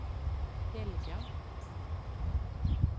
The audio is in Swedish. Helga